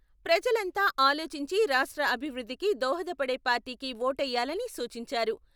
ప్రజలంతా ఆలోచించి రాష్ట్ర అభివృద్ధికి దోహదపడే పార్టీకి ఓటెయ్యాలని సూచించారు.